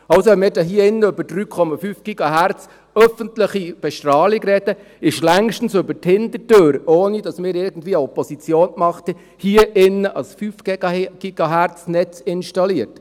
Also: Wenn wir hier im Grossen Rat über 3,4 GHz öffentliche Bestrahlung reden, ist hier in diesem Saal längstens über die Hintertür, ohne dass wir hier irgendwie Opposition gemacht haben, ein 5-GHz-Netz installiert.